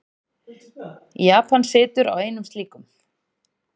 Japan situr á einum slíkum.